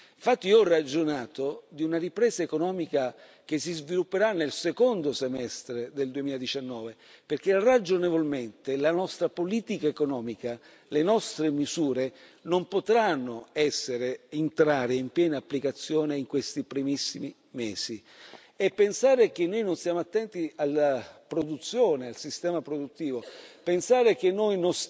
Infatti io ho ragionato di una ripresa economica che si svilupperà nel secondo semestre del 2019 perché, ragionevolmente, la nostra politica economica, le nostre misure non potranno entrare in piena applicazione in questi primissimi mesi. E pensare che noi non siamo attenti alla produzione e al sistema produttivo, pensare che noi